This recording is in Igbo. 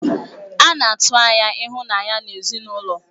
A na-atụ anya ịhụnanya n'ezinụlọ.